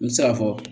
N bɛ se k'a fɔ